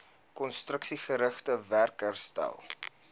konstruksiegerigte werk herstel